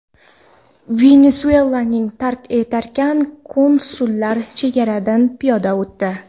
Venesuelaning tark etarkan, konsullar chegaradan piyoda o‘tdi.